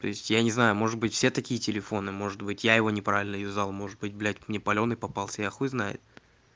то есть я не знаю может быть все такие телефоны может быть я его неправильно юзал может быть блять мне палёный попался я хуй знает